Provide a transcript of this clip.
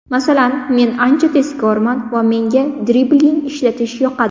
Masalan, men ancha tezkorman va menga dribling ishlatish yoqadi.